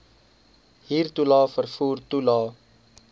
huurtoelae vervoer toelae